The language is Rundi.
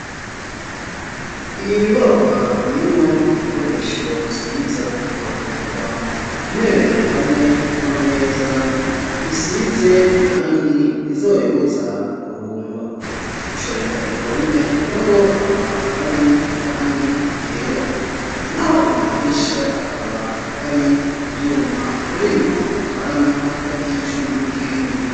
Iyi nyubakwa irimwo ibikoresho vyiza aho twavuga intebe hamwe n'amameza bisize irangi rizobibuza kubungwa gushariza impome narwo akaba ari irangi ryera naho amadirisha akaba ari ivyuma harimo akanya hagati y'icuma n'ikindi